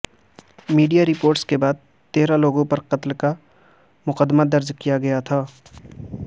media reports کے بعد تیرہ لوگوں پر قتل کا مقدمہ درج کیاگیاتھا